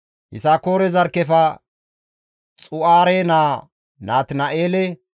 Yisakoore zarkkefe Xu7aare naa Natina7eele,